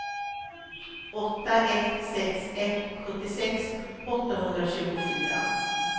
åtta ett sex ett sjuttiosex åttahundratjugofyra